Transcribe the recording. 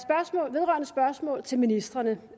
vedrørende spørgsmål til ministrene